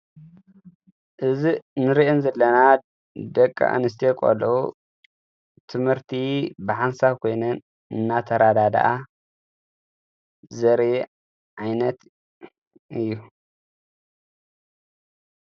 እዘን ንርእየን ዘለና ደቂ ኣንስተዮ ቖልዑ ትምህርቲ ብሓንሳብ ኾይንን እናተራዳደኣ ዘርእይ ዓይነት እዩ።